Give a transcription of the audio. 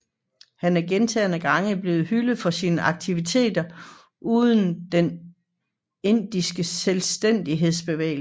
Han er gentagne gange blevet hyldet for sine aktiviteter under den indiske selvstændighedsbevægelse